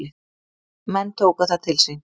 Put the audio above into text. Menn tóku það til sín.